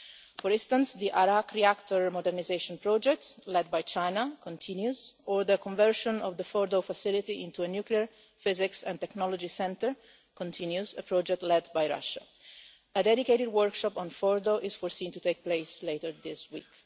For instance, the Arak reactor modernisation project led by China continues, as does the conversion of the Fordow facility into a Nuclear Physics and Technology Centre, a project led by Russia. A dedicated workshop on Fordow is foreseen to take place later this week.